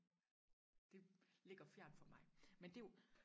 det ligger fjernt for mig men det er jo